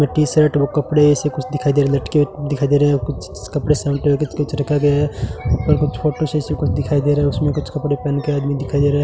वो टी-शर्ट वो कपड़े ऐसा कुछ दिखाई दे रहा लटके हुए दिखाई दे रहा है और कुछ कपड़े शल्ट कुछ रखा गया है ऊपर कुछ फोटो सा ऐसा कुछ दिखाई दे रहा है उसमें कुछ कपड़े पहन कर आदमी दिखाई दे रहा है।